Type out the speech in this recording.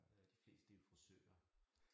Øh de fleste det jo frisører